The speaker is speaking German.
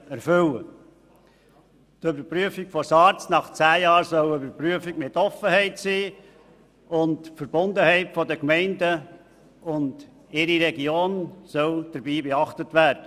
Die Überprüfung von SARZ nach zehn Jahren soll mit Offenheit angegangen und dabei die Verbundenheit der Gemeinden und ihrer Region beachtet werden.